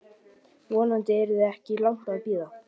Vonandi yrði þess ekki langt að bíða.